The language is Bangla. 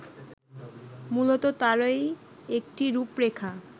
মূলত তারই একটি রূপরেখা